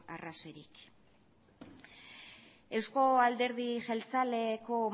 arrazoirik eusko alderdi jeltzaleko